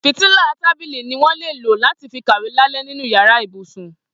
Fítìlá tàbílí niwọn lé ló làtí fi kàwé làlẹ̀ ninú iyàrá ibúsún